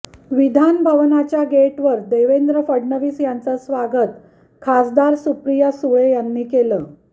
विधानभवनाच्या गेटवर देवेंद्र फडणवीस यांचं स्वागत खासदार सुप्रिया सुळे यांनी केलं